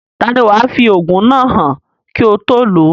Taani wàá fi òògùn náà hàn kí o tó lòó?